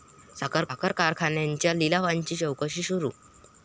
साखर कारखान्यांच्या लिलावांची चौकशी सुरु